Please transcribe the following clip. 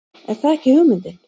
Er það ekki hugmyndin?